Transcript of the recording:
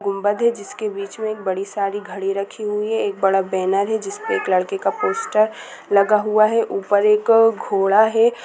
गुम्मद है जिसके बीच में एक बड़ी सारी घड़ी रखी हुई हैं। एक बड़ा बैनर है जिसमें एक लड़के का पोस्टर लगा हुआ है ऊपर एक घोड़ा है।